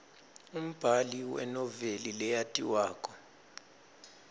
umbali wenoveli leyatiwako